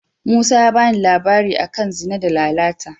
Musa ya ba ni labari a kan Zina da Lalata.